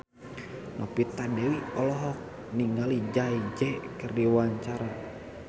Novita Dewi olohok ningali Jay Z keur diwawancara